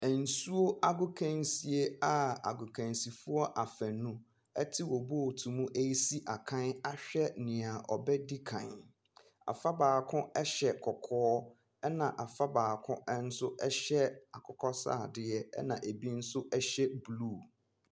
Nsuo agokansie a agokansifoɔ afanu te wɔn boat mu ɛresi akan ahwɛ deɛ ɔbɛdi kan, afa baako hyɛ kɔkɔɔ na afa baako hyɛ akokɔsradeɛ, na bi nso hyɛ blue.